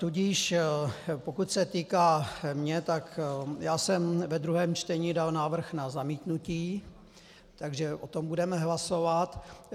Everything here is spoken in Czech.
Tudíž pokud se týká mě, tak já jsem ve druhém čtení dal návrh na zamítnutí, takže o tom budeme hlasovat.